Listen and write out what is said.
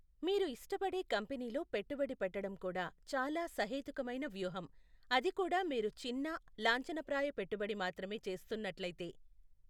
మీరు ఇష్టపడే కంపెనీలో పెట్టుబడి పెట్టడం కూడా చాలా సహేతుకమైన వ్యూహం, అది కూడా మీరు చిన్న, లాంఛనప్రాయ పెట్టుబడి మాత్రమే చేస్తున్నట్లయితే.